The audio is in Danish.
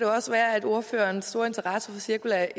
også være at ordføreren store interesse for cirkulær